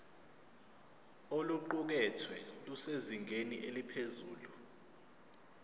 oluqukethwe lusezingeni eliphezulu